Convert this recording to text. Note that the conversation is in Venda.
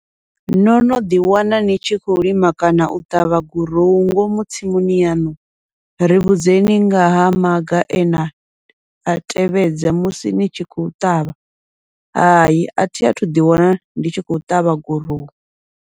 No no ḓi wana ni tshi khou lima kana u ṱavha gurowu ngomu tsimuni yaṋu, ri vhudzeni ngaha maga ena a tevhedza musi ni tshi khou ṱavha, hayi athi athu ḓi wana ndi tshi khou ṱavha gurowu.